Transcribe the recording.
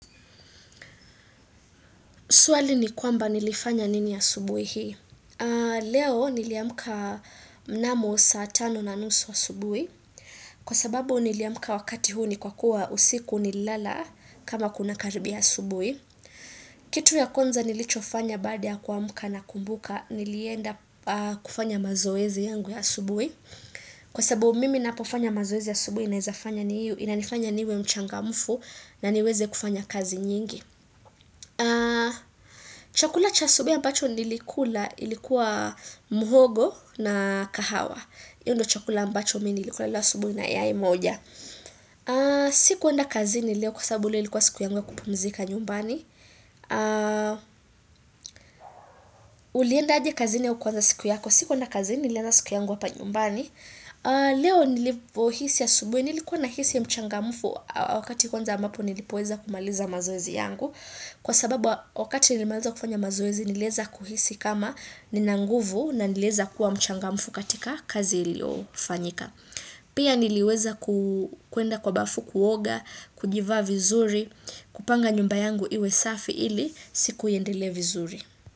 Swali ni kwamba nilifanya nini asubuhi hii. Leo niliamka mnamo saa tano na nusu asubuhi. Kwa sababu niliamka wakati huu ni kwa kuwa usiku nililala kama kunakaribia asubuhi. Kitu ya kwanza nilichofanya baada kuamka nakumbuka nilienda kufanya mazoezi yangu ya asubuhi. Kwa sababu mimi ninapofanya mazoezi asubuhi inanifanya niwe mchangamfu na niweze kufanya kazi nyingi. Chakula cha asubuhi ambacho nilikula ilikuwa muhogo na kahawa hiyo ndiyo chakula ambacho mimi nilikula asubuhi na yai moja Sikuenda kazini leo kwa sababu leo ilikuwa siku yangu ya kupumzika nyumbani Uliendaaje kazini au kuanza siku yako? Sikuenda kazini nilianza siku yangu hapa nyumbani Leo nilivyohisi asubuhi nilikuwa nahisi mchangamufu Wakati kwanza ambapo nilipoweza kumaliza mazoezi yangu Kwa sababu wakati nilimaliza kufanya mazoezi niliweza kuhisi kama nina nguvu na niliweza kuwa mchangamfu katika kazi iliyofanyika. Pia niliweza kuenda kwa bafu kuoga, kujivaa vizuri, kupanga nyumba yangu iwe safi ili siku iendelee vizuri.